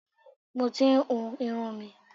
Mo ti ń hu irun mi.